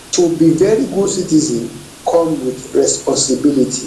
to be veri good citizen come wit responsibility